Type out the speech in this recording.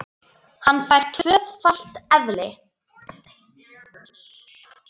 Hann fær tvöfalt eðli.